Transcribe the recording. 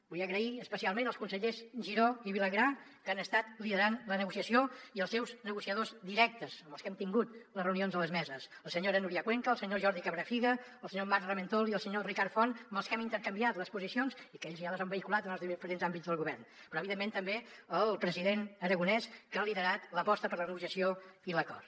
vull donar les gràcies especialment als consellers giró i vilagrà que han estat liderant la negociació i als seus negociadors directes amb els que hem tingut les reunions de les meses la senyora núria cuenca el senyor jordi cabrafiga el senyor marc ramentol i el senyor ricard font amb els que hem intercanviat les posicions i que ells ja les han vehiculat en els diferents àmbits del govern però evidentment també al president aragonès que ha liderat l’aposta per la negociació i l’acord